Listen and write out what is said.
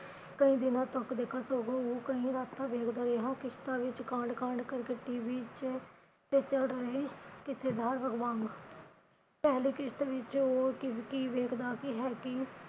ਕਈ ਦਿਨਾਂ ਤੱਕ ਦੇਖਾ ਸਗੋਂ ਉਹ ਕਈ ਰਾਤਾਂ ਵੇਖਦਾ ਰਿਹਾ ਕਿਸ਼ਤਾਂ ਵਿਚ ਕਾਂਡ ਕਾਂਡ ਕਰਕੇ TV ਚ ਰਹੇ ਪਹਿਲੀ ਕਿਸ਼੍ਤ ਵਿਚ ਵੇਖਦਾ ਹੈ ਕਿ